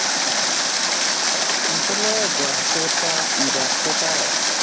আসলে ব্যস্ততা ব্যস্ততা